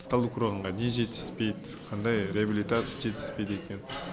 талдықорғанға не жетіспейді қандай реабилитация жетіспейді екен